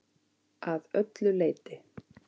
Að öllu leyti.